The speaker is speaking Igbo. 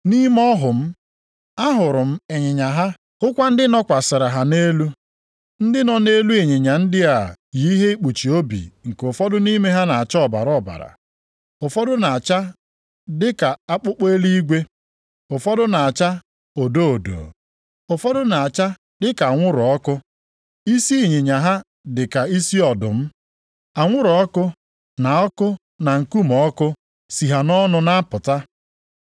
Nʼime ọhụ m, ahụrụ m ịnyịnya ha, hụkwa ndị nọkwasịrị ha nʼelu. Ndị nọ nʼelu ịnyịnya ndị a yi ihe ikpuchi obi nke ụfọdụ nʼime ha na-acha ọbara ọbara. Ụfọdụ na-acha dịka akpụkpọ eluigwe, ụfọdụ na-acha odo odo. Ụfọdụ na-acha dịka anwụrụ ọkụ. Isi ịnyịnya ha dịka isi ọdụm, anwụrụ ọkụ na ọkụ na nkume ọkụ sị ha nʼọnụ na-apụta.